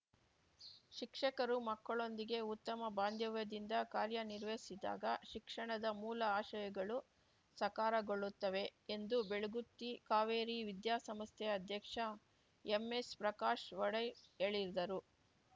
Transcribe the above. ಶಿಕ್ಷಕರು ಮಕ್ಕಳೊಂದಿಗೆ ಉತ್ತಮ ಬಾಂಧವ್ಯದಿಂದ ಕಾರ್ಯನಿರ್ವಹಿಸಿದಾಗ ಶಿಕ್ಷಣದ ಮೂಲ ಆಶಯಗಳು ಸಕಾರಗೊಳ್ಳುತ್ತವೆ ಎಂದು ಬೆಳಗುತ್ತಿ ಕಾವೇರಿ ವಿದ್ಯಾಸಂಸ್ಥೆ ಅಧ್ಯಕ್ಷ ಎಂಎಸ್‌ಪ್ರಕಾಶ್‌ ಒಡೆ ಹೇಳಿದರು